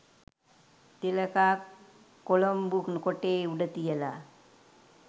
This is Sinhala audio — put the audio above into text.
තිලකා කොලොම්බු කොටේ උඩ තියලා